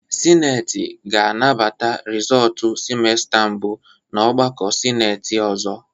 Sineti ga-anabata rizọọtu simesta mbụ n'ọgbakọ sineti ọzọ.